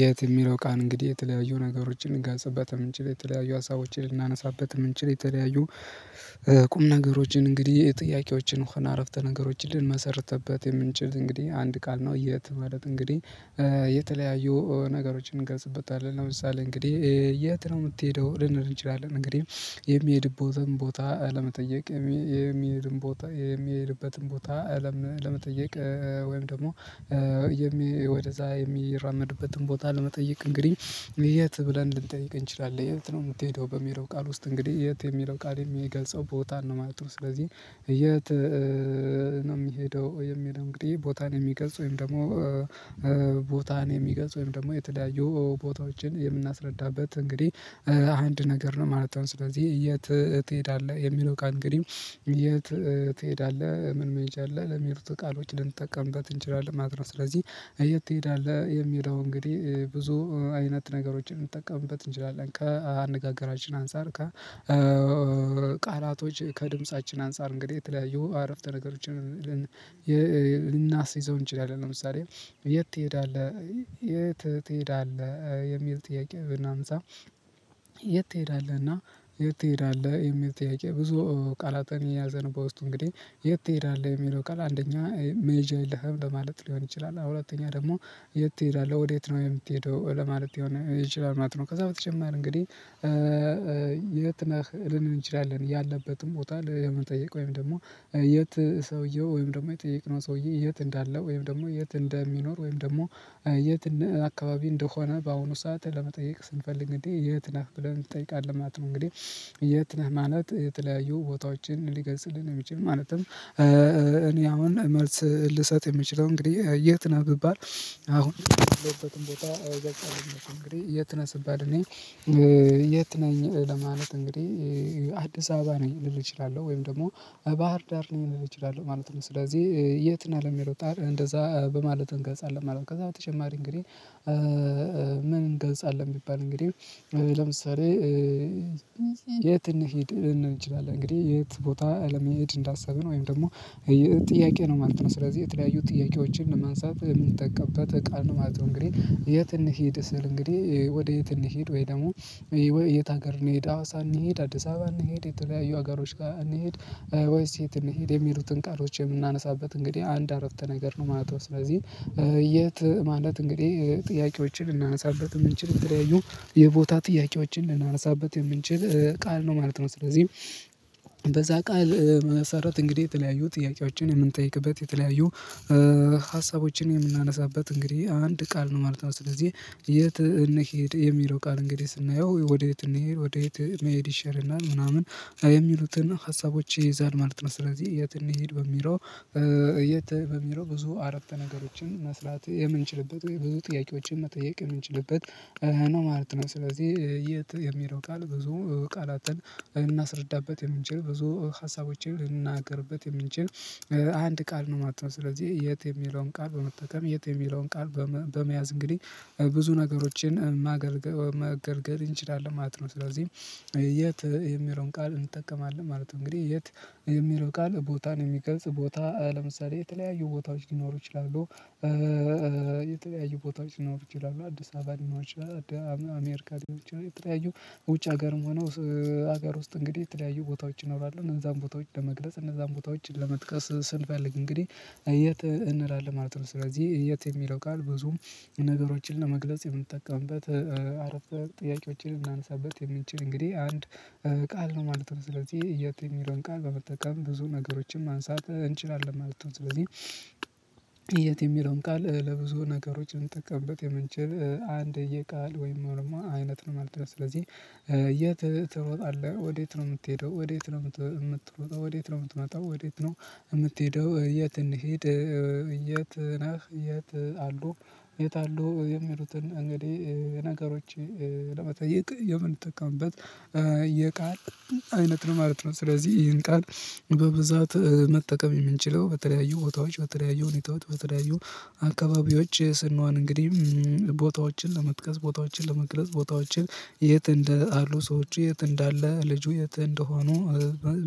የት ሚለው ቃል እንግዲህ የተለያዩ ነገሮችን ልገጽበት የምንችል የተለያዩ ሀሳቦችን ልናነሳበት የምንችል የተለያዩ ቁም ነገሮችን እንግዲህ ጥያቄዎችን ውሃ አረፍተ ነገሮችን ልንመሰርተበት የምንችል እንግዲህ አንድ ቃል ነው። የት ማለት እንግዲህ የተለያዩ ነገሮችን እንገልጽበታለን ለምሳሌ እንግዲህ የት ነው ምትሄደው ልንል እንችላለን እንግዲህ የሚሄድበትን ቦታ ለመጠየቅ። የሚሄድበትን ቦታ አለም ለመጠየቅ። ወይም ደግሞ ወደዛ የሚራመድበትን ቦታ ለመጠየቅ እንግዲህ የት ብለን ልንጠይቅ እንችላለን። የት ነው ምትሄደው በሚለው ቃል ውስጥ እንግዲህ የት የሚለው ቃል የሚገልጸው ቦታ ነው ማለት ነው። ስለዚህ የት ነው ሚሄደው? እንግዲህ ቦታን የሚገልጽ ወይም ደግሞ ቦታን የሚገልጽ ወይም ደግሞ የተለያዩ ቦታዎችን የምናስረዳበት እንግዲህ አንድ ነገር ነው ማለት ነው። ስለዚህ የተ ትሄዳለህ የሚለው ቃል እንግዲህ የት ትሄዳለህ ምን መሄጃ አለ ለሚሉት ቃሎች ልንጠቀምበት እንችላለን። ማለት ነው። ስለዚህ የት ትሄዳለህ የሚለው እንግዲህ ብዙ አይነት ነገሮችን እንጠቀምበት እንችላለን ከአነጋገራችን አንፃር ከ ከቃላቶች ከድምፃችን አንፃር እንግዲህ የተለያየ አረፍተ ነገሮችን ልናስይዘው እንችላለን። ለምሳሌ የት ትሄዳለህ የት ትሄዳለህ የሚል ጥያቄ ብናነሳ? የት ትሄዳለህና የት ትሄዳለህ የሚል ጥያቄ። ብዙ ቃላትን የያዘንበት ውስጥ እንግዲህ የት ትሄዳለህ የሚለው ቃል አንደኛ ሜጃ ይለሄም ለማለት ሊሆን ይችላል። አሁን ደግሞ የት ትሄዳለህ ወዴት ነው የምትሄደው ለማለት ይችላል ነው። ከዛ በተጨማር እንግዲህ የት ነህ ልንል እንችላለን። ያለበትም ቦታ ለመጠየቅ ወይም ደግሞ የት ሰውየው ወይም ደግሞ የጠየቅነው ሰውዬ የት እንዳለ ወይም ደግሞ የት እንደሚኖር ወይም ደግሞ የት አካባቢ እንደሆነ በአሁኑ ሰዓት ለመጠየቅ ስንፈልግ እንዴ የት ነህ ብለን እንጠይቃለን ማለት ነው። እንግዲህ የት ነህ ማለት የተለያዩ ቦታዎችን ሊገልጽልን የሚችል። ማለትም እኔ አሁን መልስ ልሰጥ የምችለው እንግዲህ የት ነህ ቢባል? አሁን የተነሳበት እንግዲህ የት ስባል እንግዲህ የት ነኝ ለማለት እንግዲህ አዲስ አበባ ነኝ ልል እችላለሁ። ወይም ደግሞ ባህር ዳር ሊሆን ይችላል ማለት ነው። ስለዚህ የት ነህ ለም የሮጣር እንደዛ በማለት እንገንጽ አለ ማለት ነው። ከዛ በተጨማሪ እንግዲህ ምን እንገንጻለን ብሚባል እንግዲህ ለምሳሌ የት እንሂድ እንችላለን እንግዲህ የት ቦታ አለመሄድ እንዳሰብን ወይም ደግሞ ጥያቄ ነው ማለት ነው። ስለዚህ የተለያዩ ጥያቄዎችን ለማንሳት የምንጠቀምበት ቃል ነው ማለት ነው። እንግዲህ የት እንሂድ ስል እንግዲህ ወዴት እንሂድ ወይ ደግሞ የት ሀገር እንሂድ አዋሳ እንሂድ አዲስ አበባ እንሂድ የተለያዩ ሀገሮች ጋር እንሂድ ወይስ የት እንሂድ የሚሉትን ቃሎች የምናነሳበት እንግዲህ አንድ አረፍተ ነገር ነው ማለት ነው። ስለዚህ የት ማለት እንግዲህ ጥያቄዎችን ልናነሳበት የምንችለው የቦታ ጥያቄዎችን ልናነሳበት የምንችል ቃል ነው ማለት ነው። ስለዚህ በዛ ቃል መሰረት እንግዲህ የተለያዩ ጥያቄዎችን ምንጠይቅበት የተለያዩ ሀሳቦችን የምናነሳበት እንግዲህ አንድ ቃል ነው ማለት ነው። ስለዚህ የት እንሂድ የሚለው ቃል እንግዲህ ስናየው ወዴት እንሂድ የት መሄድ ይሻለናል ምናምን የሚሉትን ሀሳቦች ይይዛል ማለት ነው። ስለዚህ የት እንሂድ በሚለው የት በሚለው ብዙ አረፍተ ነገሮችን መስራት የምንችልበት ወይ ብዙ ጥያቄዎችን መጠየቅ የምንችልበት ነው ማለት ነው። ስለዚህ የት የሚለው ቃል ብዙ ቃላትን ልናስረዳበት የምንችል ብዙ ሀሳቦችን ልናገርበት የምንችል አንድ ቃል ነው ማለት ነው። ስለዚህ የት የሚለውን ቃል በመጠቀም የት የሚለውን ቃል በመያዝ እንግዲህ ብዙ ነገሮችን ማገልገል መገልገል እንችላለን ማለት ነው። ስለዚህ የት የሚለውን ቃል እንጠቀማለን ማለት ነው። እንግዲህ የት የሚለው ቃል ቦታን የሚገልጽ ቦታ ለምሳሌ የተለያዩ ቦታዎች ሊኖሩ ይችላሉ። የተለያዩ ቦታዎች ሊኖሩ ይችላሉ አዲስ አበባ ሊኖሮ ይችላል አሜሪካኖች የተለያዩ ውጭ ሀገርም ሆኖ ሀገር ውስጥ እንግዲህ የተለያዩ ቦታዎች እኖራለሁ እነዛን ቦታዎች ለመግለጽ እነዛን ቦታዎች ለመጥቀስ ስንፈልግ እንግዲህ የት እንላለን ማለት ነው። ስለዚህ የት የሚለው ቃል ብዙም ነገሮችን ለመግለጽ የምንጠቀምበት አረፍተ ጥያቄዎችን የምናንሳበት የምንችል እንግዲህ አንድ ቃል ነው ማለት ነው። ስለዚህ የት የሚለውን ቃል በመጠቀም ብዙ ነገሮችን ማንሳት እንችላለን ማለት ነው። ስለዚህ የት የሚለውን ቃል ለብዙ ነገሮች እንጠቀምበት የምንችል አንድ የቃል ወይም አይነት ነው ማለት ነው። ስለዚህ የት ትሮጣለህ ወዴት ነው የምትሄደው ወዴት ነው የምትሮጣለህ ወዴት ነው የምትመጣው ወዴት ነው የምትሄደው የት እንሂድ? የት ነህ የት አሉ የት አሉ የሚሉትን እንግዲህ ነገሮች ለመጠየቅ የምንጠቀምበት የቃል አይነት ነው ማለት ነው። ስለዚህ ይሄን ቃል በብዛት መጠቀም የምንችለው በተለያዩ ቦታዎች በተለያዩ ሁኔታዎች በተለያዩ አካባቢዎች ስንሆን እንግዲህ ቦታዎችን ለመጥቀስ ቦታዎችን ለመግለጽ ቦታዎችን የት እንደ አሉ ሰዎች የት እንዳለ ልጁ የት እንደሆኑ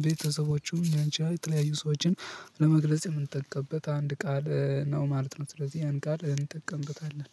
ቤተሰቦቹ እኛንቺ የተለያዩ ሰዎችን ለመግለጽ የምንጠቀምበት አንድ ቃል ነው ማለት ነው። ስለዚህ ያን ቃል እንጠቀምበታለን